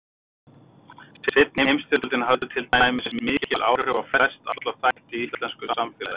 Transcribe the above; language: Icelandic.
Seinni heimsstyrjöldin hafði til dæmis mikil áhrif á flest alla þætti í íslensku samfélagi.